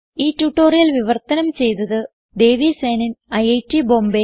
ഈ ട്യൂട്ടോറിയൽ വിവർത്തനം ചെയ്തത് ദേവി സേനൻ ഐറ്റ് ബോംബേ